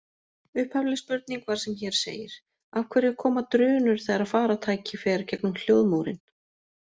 Upphafleg spurning var sem hér segir: Af hverju koma drunur þegar farartæki fer gegnum hljóðmúrinn?